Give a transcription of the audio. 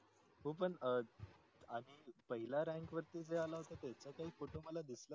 हो पण आधी पहिली rank वरती जे आला होता त्याचा photo मला काही दिसला